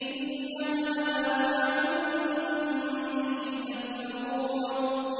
إِنَّ هَٰذَا مَا كُنتُم بِهِ تَمْتَرُونَ